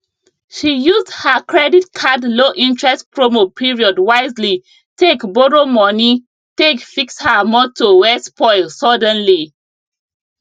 she used her credit card low interest promo period wisely take borrow money take fix her motor wey spoil suddenly